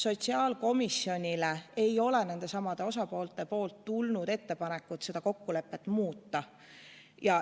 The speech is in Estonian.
Sotsiaalkomisjonile ei ole kokkuleppe osapooltelt tulnud ettepanekut seda lepet muuta.